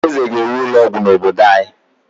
Eze ga-ewu ụlọ ọgwụ n’obodo anyị.